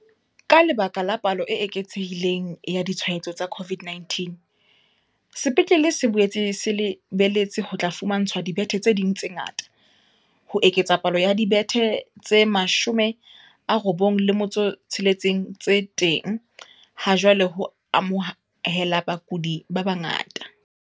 Ka lebaka la palo e eketsehi leng ya ditshwaetso tsa CO VID-19, sepetlele se boetse se le beletse ho tla fumantshwa dibethe tse ding tse ngata, ho eketsa palo ya dibethe tse 96 tse teng ha jwale ho amohela bakudi ba bangata.